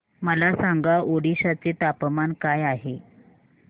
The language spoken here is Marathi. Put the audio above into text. मला सांगा ओडिशा चे तापमान काय आहे